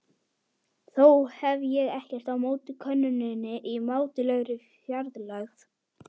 Þó hef ég ekkert á móti konunni í mátulegri fjarlægð.